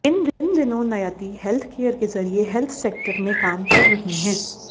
इन दिनों नयति हेल्थकेयर के जरिए हेल्थ सेक्टर में काम कर रहीं हैं